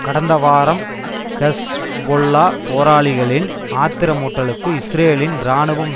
கடந்த வாரம் ஹெஸ்பொல்லா போராளிகளின் ஆத்திரமூட்டலுக்கு இஸ்ரேலின் இராணுவம்